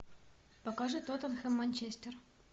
покажи тоттенхэм манчестер